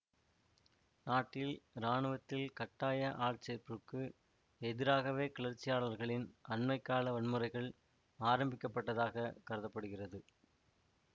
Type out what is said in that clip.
நாட்டில் இராணுவத்தில் கட்டாய ஆட்சேர்ப்புக்கு எதிராகவே கிளர்ச்சியாளர்களின் அண்மை கால வன்முறைகள் ஆரம்பிக்கப்பட்டதாகக் கருத படுகிறது